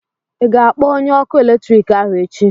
ị ga-akpọ onye ọkụ eletrik ahụ echi?